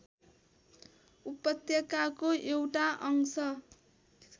उपत्यकाको एउटा अंश